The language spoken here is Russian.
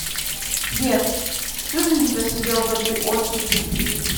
сбер всю жизнь просидел в этой очереди